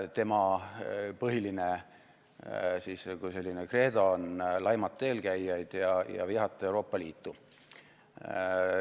Tema põhiline kreedo on laimata eelkäijaid ja vihata Euroopa Liitu.